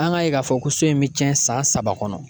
An ka ye k'a fɔ ko so in bɛ cɛn san saba kɔnɔ